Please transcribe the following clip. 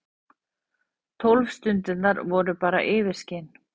Tólf stundirnar voru bara yfirskin.